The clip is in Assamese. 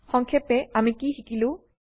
সংক্ষেপে আমি কি শিকিলো